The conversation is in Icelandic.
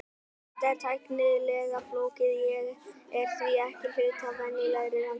Þetta er þó tæknilega flókið og er því ekki hluti af venjulegri rannsókn.